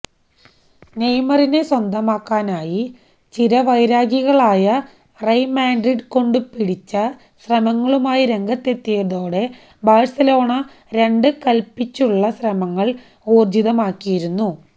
നെയ്മറിനെ സ്വന്തമാക്കാനായി ചിര വൈരികളായ റയല് മാഡ്രിഡ് കൊണ്ടു പിടിച്ച ശ്രമങ്ങളുമായി രംഗത്തെത്തിയതോടെ ബാഴ്സലോണ രണ്ടും കല്പ്പിച്ചുള്ള ശ്രമങ്ങള് ഊര്ജിതമാക്കിയിരുന്നു